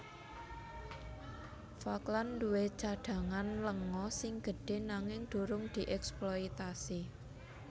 Falkland duwé cadhangan lenga sing gedhé nanging durung dièksploitasi